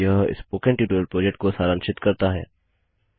यह spoken tutorial project को सारांशित करता है